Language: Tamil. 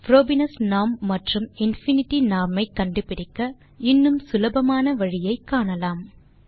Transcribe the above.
புரோபீனியஸ் நார்ம் மற்றும் இன்ஃபினிட்டி நார்ம் ஐ கண்டுபிடிக்க இன்னும் சுலபமான வழியை காணலாம்